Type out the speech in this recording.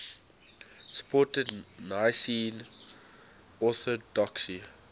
supported nicene orthodoxy